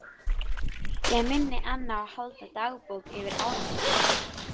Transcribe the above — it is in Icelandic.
Ég minni enn á að halda dagbók yfir árangurinn.